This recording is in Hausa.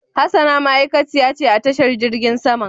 Hassana ma'aikaciya ce a tashar jirgin saman.